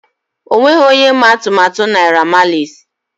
O nweghị onye ma atụmatụ Naira Marleys.